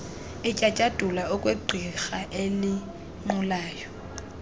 etyatyadula okwegqirha elinqulayo